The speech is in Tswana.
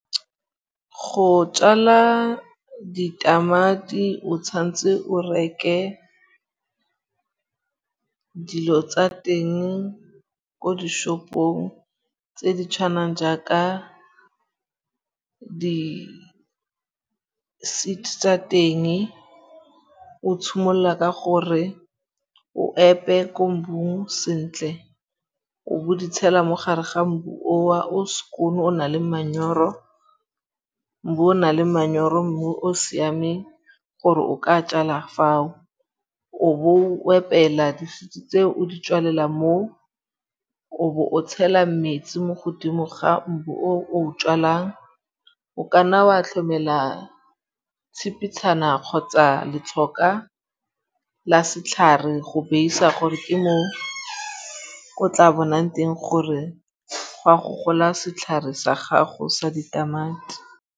Go tjala ditamati o tshwan'tse o reke dilo tsa teng ko dishopong tse di tshwanang jaaka di-seed tsa teng. O tshimolla ka gore o epe ko mbung sentle. O bo o di tshela mo gare ga mbu oo o skoon o na le manyoro. Mbu o na le manyoro, mmu o siameng gore o ka tjala fao. O bo o epela di-seeds tseo o di tswalela moo. O bo o tshela metsi mo godimo ga mbu o o o tjalang. O ka nna wa tlhomela tshipitshana kgotsa letlhoka la setlhare go base-a gore ke mo o tla bonang teng gore go a go gola setlhare sa gago sa ditamati.